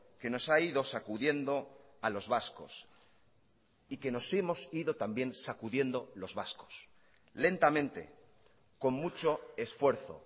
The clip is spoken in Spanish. que nos ha ido sacudiendo a los vascos y que nos hemos ido también sacudiendo los vascos lentamente con mucho esfuerzo